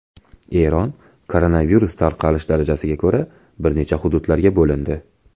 Eron koronavirus tarqalish darajasiga ko‘ra bir necha hududlarga bo‘lindi.